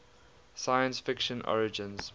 science fiction origins